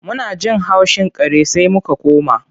Muna jin haushin kare sai muka koma.